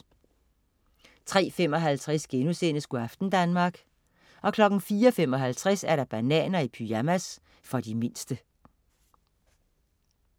03.55 Go' aften Danmark* 04.55 Bananer i pyjamas. For de mindste